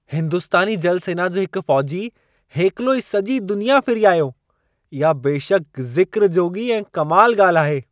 हिंदुस्तानी जल सेना जो हिकु फ़ौजी हेकिलो ई सॼी दुनिया फिरी आयो! इहा बेशकि ज़िक्र जोॻी ऐं कमाल ॻाल्हि आहे।